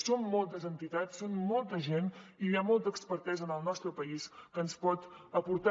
són moltes entitats és molta gent i hi ha molta expertesa en el nostre país que ens pot aportar